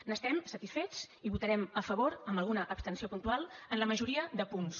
n’estem satisfets i votarem a favor amb alguna abstenció puntual a la majoria de punts